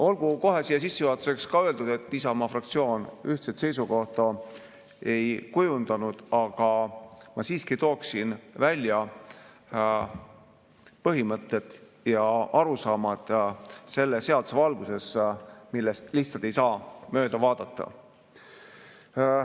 Olgu kohe sissejuhatuseks öeldud, et Isamaa fraktsioon ühtset seisukohta ei kujundanud, aga ma tooksin välja põhimõtted ja arusaamad selle seaduse valguses, millest lihtsalt ei saa mööda vaadata.